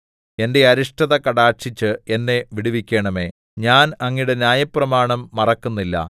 എന്റെ അരിഷ്ടത കടാക്ഷിച്ച് എന്നെ വിടുവിക്കണമേ ഞാൻ അങ്ങയുടെ ന്യായപ്രമാണം മറക്കുന്നില്ല